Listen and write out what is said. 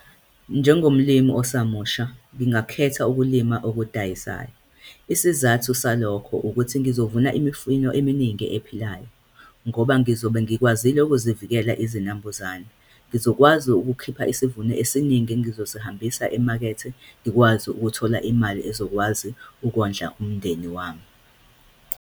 Njengomlimi osamusha, ngingakhetha ukulima okudayisayo. Isizathu salokho ukuthi ngizovuna imifino eminingi ephilayo, ngoba ngizobe ngikwazile ukuzivikela izinambuzane. Ngizokwazi ukukhipha isivuno esiningi engizosihambisa emakethe, ngikwazi ukuthola imali ezokwazi ukondla umndeni wami.